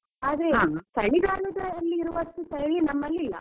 ಆದ್ರೆ ಚಳಿಗಾಲದಲ್ಲಿರುವಷ್ಟು ಚಳಿ ನಮ್ಮಲ್ಲಿಲ್ಲ.